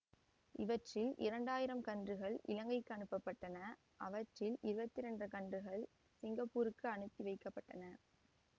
இவற்றில் இரண்டு ஆயிரம் கன்றுகள் இலங்கைக்கு அனுப்பப் பட்டன அவற்றில் இருபத்தி இரண்டு கன்றுகள் சிங்கப்பூருக்கு அனுப்பி வைக்க பட்டன